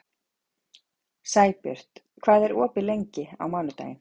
Sæbjört, hvað er opið lengi á mánudaginn?